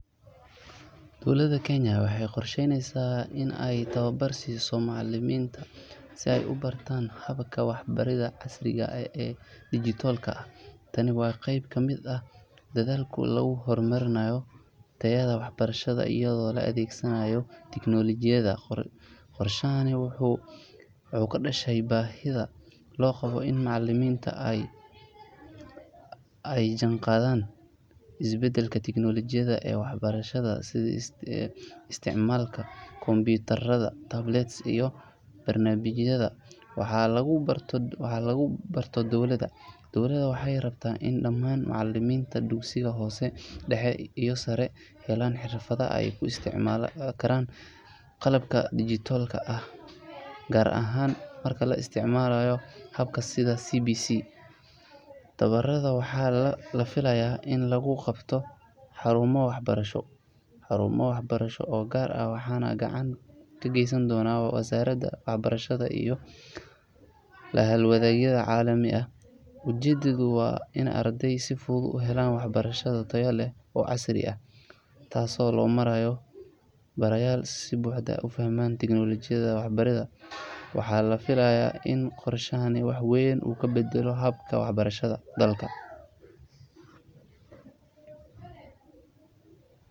Dowladda Kenya waxay qorshaynaysaa in ay tababar siiso macallimiinta si ay u bartaan habka waxbaridda casriga ah ee dhijitaalka ah. Tani waa qayb ka mid ah dadaalka lagu horumarinayo tayada waxbarashada iyadoo la adeegsanayo tiknoolajiyada. Qorshahani wuxuu ka dhashay baahida loo qabo in macallimiintu ay la jaanqaadaan isbeddelka tiknoolajiga ee waxbarashada sida isticmaalka kombiyuutarada, tablets, iyo barnaamijyada wax lagu barto. Dowladda waxay rabtaa in dhammaan macallimiinta dugsiyada hoose, dhexe iyo sare ay helaan xirfado ay ku isticmaali karaan qalabka dhijitaalka ah, gaar ahaan marka la isticmaalayo hababka sida CBC. Tababarada waxaa la filayaa in lagu qabto xarumo waxbarasho oo gaar ah waxaana gacan ka geysan doona wasaaradda waxbarashada iyo la-hawlgalayaal caalami ah. Ujeeddadu waa in ardayda si fudud u helaan waxbarasho tayo leh oo casri ah, taasoo loo marayo barayaal si buuxda u fahansan tiknoolajiyada waxbaridda. Waxaa la filayaa in qorshahani wax weyn ka beddelo habka waxbarashada dalka.